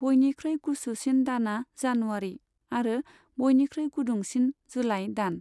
बयनिख्रुइ गुसुसिन दानआ जानुवारि, आरो बयनिख्रुइ गुदुंसिना जुलाई दान।